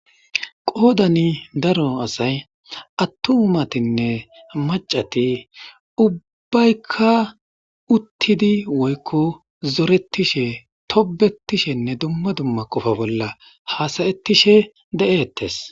Qoodani daro asay attumatinne macati ubbaykka uttidi woykko zoretishe tobetishenne dumma dumma qofa bolla haasayettishe de7ettes